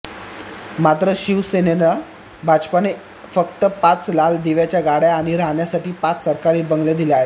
मात्र शिवसेनेनेला भाजपाने फक्त पाच लाल दिव्यांच्या गाडय़ा आणि राहण्यासाठी पाच सरकारी बंगले दिले आहेत